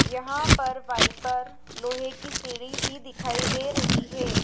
यहां पर वाइपर लोहे की सीढ़ी भी दिखाई दे रही है।